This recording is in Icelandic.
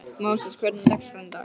Móses, hvernig er dagskráin í dag?